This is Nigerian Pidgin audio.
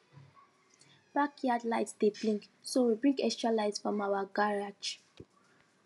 backyard light dey blink so we bring extra light from our garage